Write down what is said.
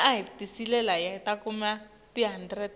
tintfombi tivunula indlamu